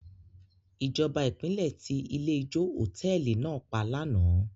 Ìjọba ìpínlẹ̀ ti ilé-ijó hòtẹ́ẹ́lì náà pa lánàá.